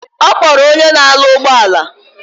Okporo onye na alu ugboala